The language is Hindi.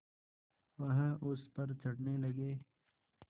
वह उस पर चढ़ने लगे